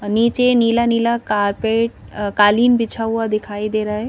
नीचे नीला नीला कारपेट अ कालीन बिछा हुआ दिखाई दे रहा है।